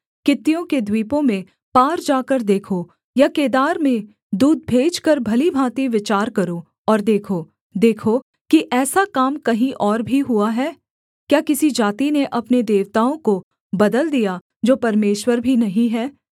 कित्तियों के द्वीपों में पार जाकर देखो या केदार में दूत भेजकर भली भाँति विचार करो और देखो देखो कि ऐसा काम कहीं और भी हुआ है क्या किसी जाति ने अपने देवताओं को बदल दिया जो परमेश्वर भी नहीं हैं